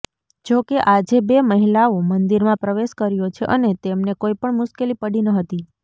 જો કે આજે બે મહિલાઓ મંદિરમાં પ્રવેશ કર્યો છે અને તેમને કોઇપણ મુશ્કેલી પડી નહતી